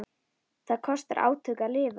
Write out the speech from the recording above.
Það kostar átök að lifa.